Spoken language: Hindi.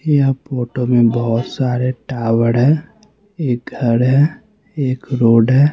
ये फोटो में बहुत सारे टावड़ है एक घर है एक रोड है।